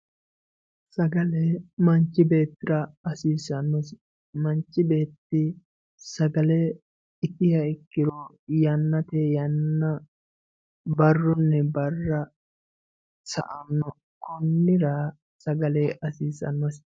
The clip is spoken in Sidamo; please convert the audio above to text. Sagalle manchi beettira hasisanosi manchi beetti sagalle ittiha ikkiro yanate yana baruni bara sa'anno konira sagalle hasissanosi